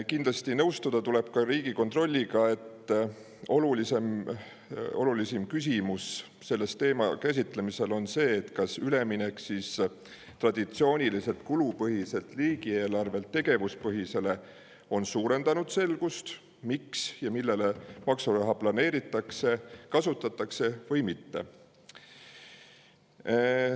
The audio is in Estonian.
Kindlasti tuleb nõustuda Riigikontrolliga selles, et olulisim küsimus selle teema käsitlemisel on see, kas üleminek traditsiooniliselt kulupõhiselt riigieelarvelt tegevuspõhisele on suurendanud selgust, miks ja millele maksuraha planeeritakse ja kasutatakse, või mitte.